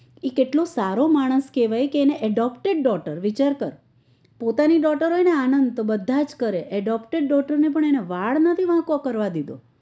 એ કેટલો સારો માણસ કેવાય કે એને adaptor daughter વિચાર કર પોતાની daughter હોય ને આનંદ તો બધા જ કરે adaptor daughter પણ વાળ નથી વાંકો કરવા દીધો